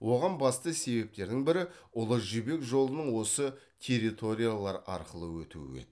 оған басты себептердің бірі ұлы жібек жолының осы территориялар арқылы өтуі еді